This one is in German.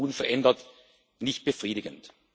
Die Lage ist unverändert nicht befriedigend.